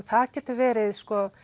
það getur verið